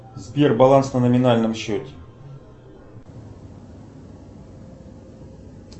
сбер баланс на номинальном счете